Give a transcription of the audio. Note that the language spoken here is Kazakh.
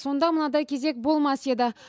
сонда мынадай кезек болмас еді